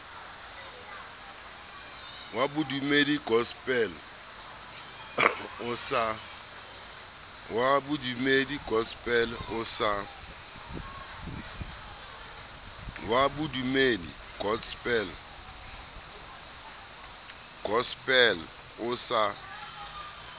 wa bodumedi gospel o sa